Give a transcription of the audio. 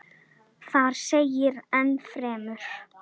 Þar segir enn fremur